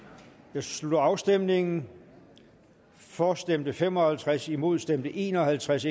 her slutter afstemningen for stemte fem og halvtreds imod stemte en og halvtreds